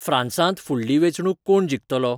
फ्रांसांत फुडली वेंचणूक कोण जिंखतलो